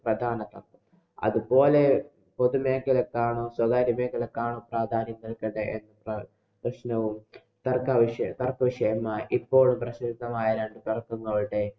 പ്രധാന അതുപോലെ പോതുമെഖലയ്ക്കണോ, സ്വകാര്യ മേഖലയ്ക്കാണോ പ്രാധാന്യം നല്‍കേണ്ടത് എന്നുള്ള പ്രശ്നവും തര്‍ക്ക വിഷ~ തര്‍ക്ക വിഷയായി. ഇപ്പോള്‍ പ്രസിദ്ധമായ